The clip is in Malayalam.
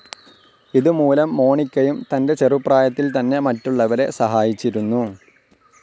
ഇത് മൂലം മോണിക്കയും തൻ്റെചെറുപ്രായത്തിൽ തന്നെ മറ്റുള്ളവരെ സഹായിച്ചിരുന്നു.